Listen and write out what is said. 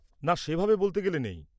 না, সেভাবে বলতে গেলে নেই।